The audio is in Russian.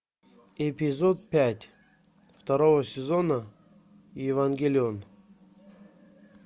эпизод пять второго сезона евангелион